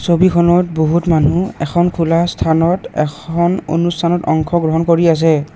ছবিখনত বহুত মানুহ এখন খোলা স্থানত এখন অনুষ্ঠানত অংশ গ্ৰহণ কৰি আছে।